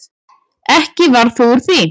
Ekki varð þó úr því.